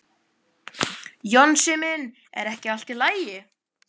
Jónsi minn, er ekki allt í lagi?